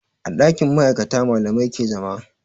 A ɗakin ma'aikata malamai ke zama